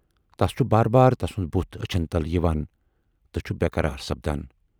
تَس چھُ باربار تسُند بُتھ ٲچھَن تل یِوان تہٕ چھُ بیقرار سَپدان۔